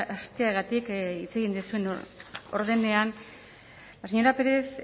hasteagatik hitz egin duzuen ordenean la señora pérez